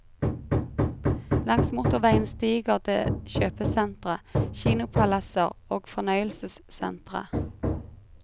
Langs motorveien stiger det kjøpesentre, kinopalasser og fornøyelsessentre.